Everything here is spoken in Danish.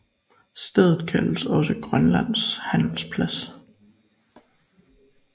Stedet kaldes også Grønlands Handels Plads